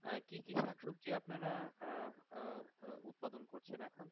আহ কি কি শাক সবজি আপনারা আহ আহ উৎপাদন করছেন এখন?